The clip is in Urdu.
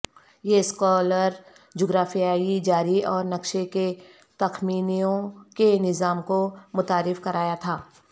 یہ اسکالر جغرافیائی جاری اور نقشے کے تخمینوں کے نظام کو متعارف کرایا تھا